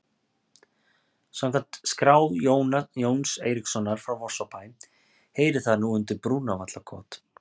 Samkvæmt skrá Jóns Eiríkssonar frá Vorsabæ heyrir það nú undir Brúnavallakot.